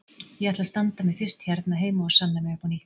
Ég ætla að standa mig fyrst hérna heima og sanna mig upp á nýtt.